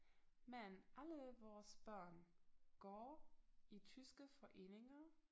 Men alle vores børn går i tyske foreninger